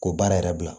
Ko baara yɛrɛ bila